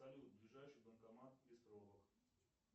салют ближайший банкомат без пробок